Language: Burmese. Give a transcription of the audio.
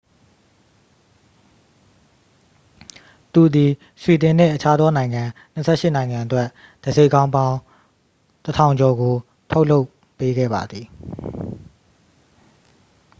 သူသည် ဆွီဒင်နှင့် အခြားသောနိုင်ငံ 28 နိုင်ငံအတွက် တံဆိပ်ခေါင်းပေါင်း 1,000 ကျော်ကို ထုတ်လုပ်ပေးခဲ့ပါသည်